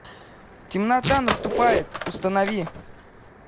темнота наступает установи